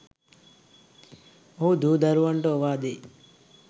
ඔහු දූ දරුවන්ට ඔවාදෙයි